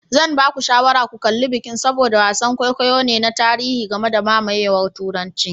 Zan ba ku shawarar ku kalli Vikings saboda wasan kwaikwayo ne na tarihi game da mamayewar Turanci.